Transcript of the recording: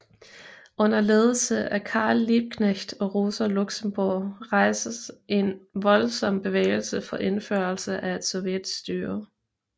Under ledelse af Karl Liebknecht og Rosa Luxemburg rejstes en voldsom bevægelse for indførelse af et sovjetstyre